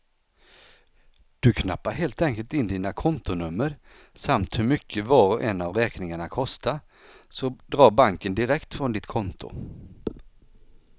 Du knappar helt enkelt in dina kontonummer samt hur mycket var och en av räkningarna kostar, så drar banken direkt från ditt konto.